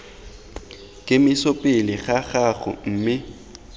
kemiso pele ga gago mme